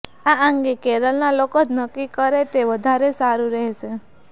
આ અંગે કેરલના લોકો જ નક્કી કરે તે વધારે સારુ રહેશે